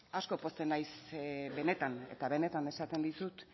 asko pozten naiz benetan esaten dizut